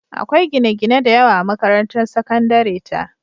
Akwai gine-gine da yawa a makarantar sakandare ta.